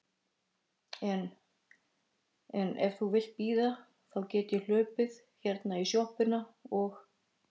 En. en ef þú vilt bíða þá get ég hlaupið hérna í sjoppuna og.